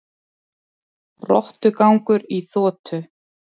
Rottugangur í þotu